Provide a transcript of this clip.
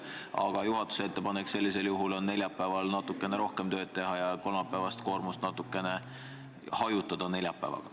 Aga juhatuse ettepanek sellisel juhul oleks neljapäeval natukene rohkem tööd teha ja kolmapäevast koormust natukene vähendada.